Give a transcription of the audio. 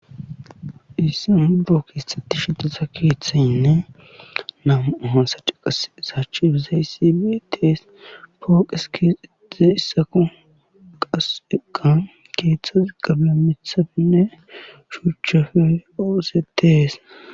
issi buro kexxetishe diza keethayinne naamu ahan saciqas saachbizaysibitees fooqes kize issako qaseqa keeththa zigabia mithabinne shuchchafe oose tees